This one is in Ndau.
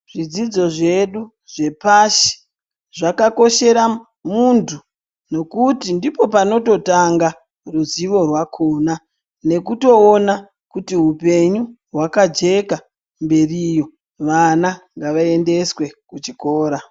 Zvidzidzo zvedu zvepashi zvakakoshera munthu nekuti ndipo panototanga ruzivo rwakona nekutoona kuti hupenyu hwakajeka mberiyo vana ngavaendeswe kuchikora.